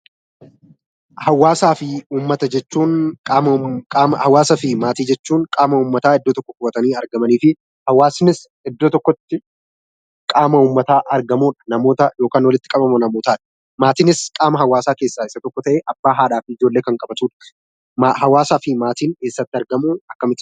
Hawaasaa fi Maatii jechuun qaama uummataa iddoo tokko qubatanii argamaniifi, hawaasnis iddoo tokkotti qaama uummataa argamu namootaa yookiin walitti qabama namootaati. Maatiinis qaama haawaasaa keessaa isa tokko ta'ee Abbaa, Haadhaa fi Ijoollee kan qabatu jechuu dha. Haawaasaa fi Maatiin eessatti argamuu?